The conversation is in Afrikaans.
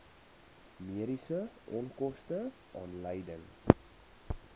mediese onkoste aanleiding